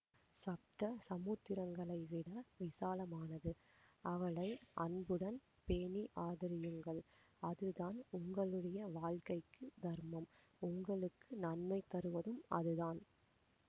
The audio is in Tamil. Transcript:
சப்த சமுத்திரங்களைவிட விசாலமானது அவளை அன்புடன் பேணி ஆதரியுங்கள் அதுதான் உங்களுடைய வாழ்க்கைக்கு தர்மம் உங்களுக்கு நன்மை தருவதும் அதுதான்